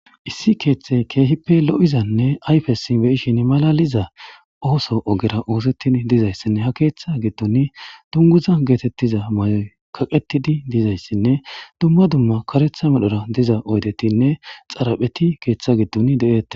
Issi keeththey keehippe lo7izanne ayfesi beyishin malaliza ooso ogera oosettid dizayssinne ha keeththa giddun dunguza geetettiza may7oy kaqetidi dizayssinne dumma dumma karetha medhora diza oydetinne xarapheti keeththa giddun de7ette